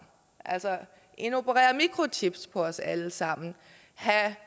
altså indoperere mikrochips på os allesammen have